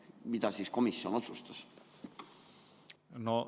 Mida siis komisjon otsustas?